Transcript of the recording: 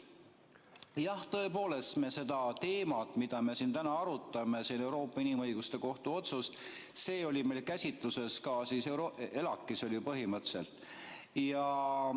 Jah, tõepoolest, see teema, mida me siin täna arutame, Euroopa Inimõiguste Kohtu otsus, oli meil käsitluses ka ELAK-is põhimõtteliselt.